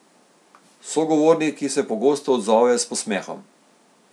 Sogovorniki se pogosto odzovejo s posmehom.